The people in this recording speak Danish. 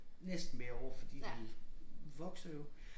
Næsten hvert år fordi de vokser jo